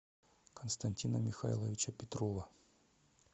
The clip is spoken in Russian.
константина михайловича петрова